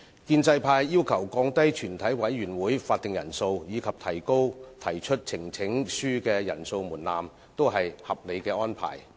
建制派要求降低全體委員會的會議法定人數及提高提出呈請書的人數門檻，均屬合理的安排。